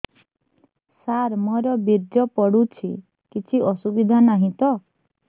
ସାର ମୋର ବୀର୍ଯ୍ୟ ପଡୁଛି କିଛି ଅସୁବିଧା ନାହିଁ ତ